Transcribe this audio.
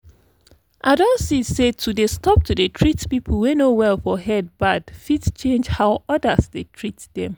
i don see say to dey stop to treat people wey no well for head bad fit change how others dey treat them